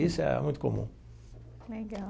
Isso é muito comum. Legal.